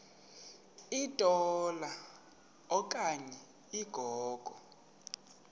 litola okanye ligogo